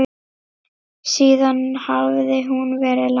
Síðan hafði hún verið lasin.